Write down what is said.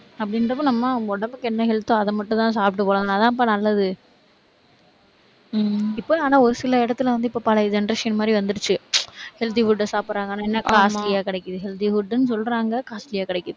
அப்படின்றப்ப நம்ம உடம்புக்கு என்ன health ஓ அதை மட்டும்தான் சாப்பிட்டு போகணும், அதுதான்ப்பா நல்லது இப்ப ஆனா ஒரு சில இடத்துல வந்து இப்ப பழைய generation மாதிரி வந்திருச்சு healthy food அ சாப்பிடுறாங்க. ஆனா என்ன costly ஆ கிடைக்குது healthy food ன்னு சொல்றாங்க costly ஆ கிடைக்குது.